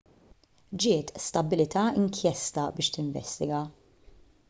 ġiet stabbilita inkjesta biex tinvestiga